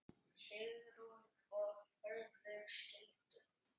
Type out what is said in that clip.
Sigrún og Hörður skildu.